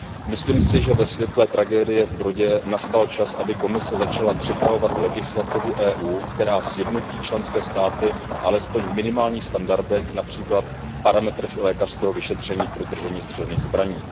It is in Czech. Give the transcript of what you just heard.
Myslím si, že ve světle tragédie v Uherském Brodě nastal čas, aby Komise začala připravovat legislativu EU, která sjednotí členské státy alespoň v minimálních standardech, například v parametrech lékařského vyšetření pro držení střelných zbraní.